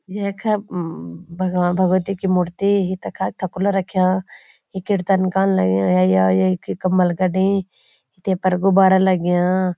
यखा भगवां भगवती की मूर्ति तखा थकुला रख्याँ यी कीर्तन कण लाग्यां है या येकी कम्बल गड़ी तेपर गुब्बारा लग्याँ।